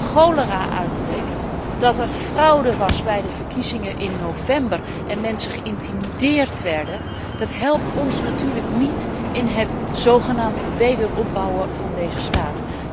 Dat er cholera uitbreekt, dat er fraude was bij de verkiezingen in november en mensen geïntimideerd werden, helpt ons natuurlijk niet bij het zogenaamd wederopbouwen van deze staat.